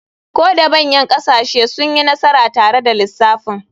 Ko da manyan ƙasashe sun yi nasara tare da lissafin.